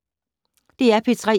DR P3